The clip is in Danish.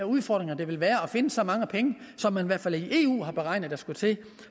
udfordringer det ville være at finde så mange penge som man i hvert fald i eu har beregnet at der skulle til